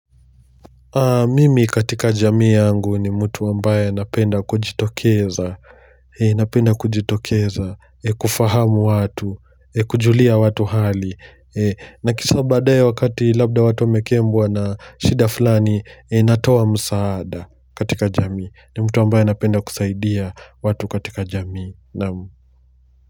Mimi katika jamii yangu ni mtu ambaye anapenda kujitokeza, napenda kujitokeza kufahamu watu, kujulia watu hali na kisha baadaye wakati labda watu wamekembwa na shida fulani natoa msaada katika jamii, ni mtu ambaye anapenda kusaidia watu katika jamii, naam.